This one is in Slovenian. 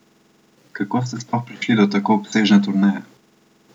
Kako ste sploh prišli do tako obsežne turneje?